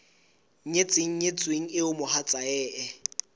nyetseng nyetsweng eo mohatsae e